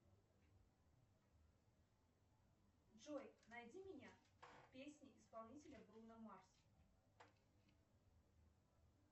джой найди меня песня исполнителя бруно марс